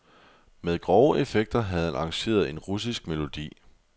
Med grove effekter havde han arrangeret en russisk melodi.